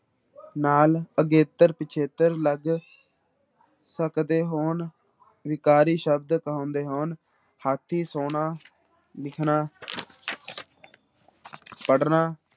ਨਾਲ ਅਗੇਤਰ ਪਿੱਛੇਤਰ ਲੱਗ ਸਕਦੇ ਹੋਣ ਵਿਕਾਰੀ ਸ਼ਬਦ ਕਹਾਉਂਦੇ ਹੋਣ, ਹਾਥੀ, ਸੋਨਾ, ਲਿਖਣਾ ਪੜ੍ਹਨਾ